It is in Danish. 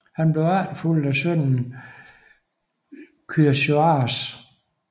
Han blev efterfulgt af sønnen Kyaxares